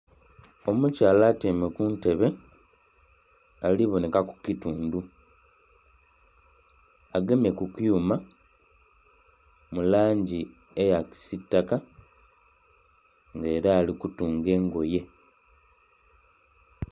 Omukyala atyaime ku ntebe ali bonhekaku kitundhu agemye ku kyuma mu langi eya kisitaka nga era ali kutunga engoye.